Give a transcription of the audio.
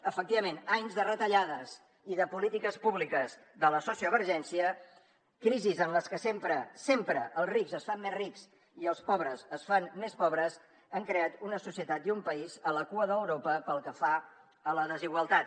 efectivament anys de retallades i de polítiques públiques de la sociovergència crisis en les que sempre sempre els rics es fan més rics i els pobres es fan més pobres han creat una societat i un país a la cua d’europa pel que fa a la desigualtat